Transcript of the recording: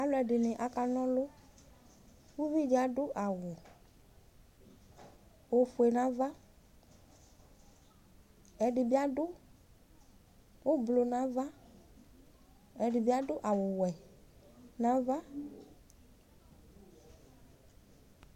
alʊɛɗɩnɩ aƙanɔlɔ ʊʋɩɗɩ aɗʊ awʊ oƒʊe nu aʋa ɛɗɩɓɩaɗʊ aʋaʋlɩ naʋa ɛɗɩɓɩaɗʊ awʊ ɔwʊɛ naʋa